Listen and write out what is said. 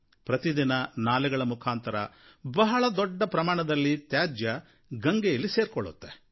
ಪ್ರತಿದಿನ ನಾಲೆಗಳ ಮುಖಾಂತರ ಬಹಳ ದೊಡ್ಡ ಪ್ರಮಾಣದಲ್ಲಿ ತ್ಯಾಜ್ಯ ಗಂಗೆಯಲ್ಲಿ ಸೇರಿಕೊಳ್ಳುತ್ತೆ